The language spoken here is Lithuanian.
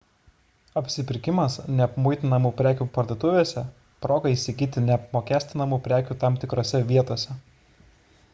apsipirkimas neapmuitinamų prekių parduotuvėse – proga įsigyti neapmokestinamų prekių tam tikrose vietose